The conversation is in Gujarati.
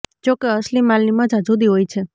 જો કે અસલી માલની મજા જુદી હોય છે